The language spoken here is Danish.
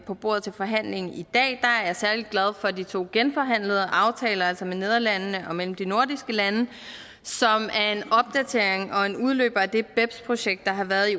på bordet til forhandling i dag er jeg særlig glad for de to genforhandlede aftaler altså med nederlandene og mellem de nordiske lande som er en opdatering og en udløber af det beps projekt der har været i